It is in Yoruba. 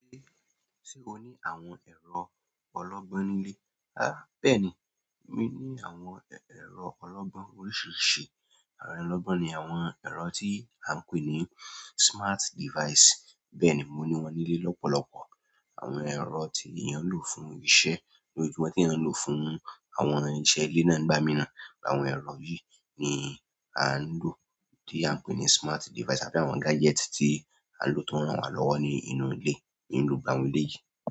Ṣé o ní àwọn ẹ̀rọ ọlọ́gbọ́n nílé? Rárá, bẹ́ẹ̀ni, mi ní àwọn ẹ̀rọ ọlọ́gbọ́n oríṣiríṣi. Àwọn ẹ̀rọ ọlọ́gbọ́n ni àwọn ẹ̀rọ tí a ń pè ní smart device. Bẹ́ẹ̀ni, mo ní wọn nílé lọ́pọ̀lọpọ̀. Àwọn ẹ̀rọ tí èèyàn ń lò fún iṣẹ́, ní ojúmọ́ tí èèyàn ń lò fún àwọn iṣẹ́ ilé náà ń gbámìrán. Àwọn ẹ̀rọ yìí ni a ń lò, tí a ń pè ní smart device àbí àwọn gadget tí a lò tó ń ràn wá lọ́wọ́ ní inú ilé, nínú ìgbà ohun ilé yìí.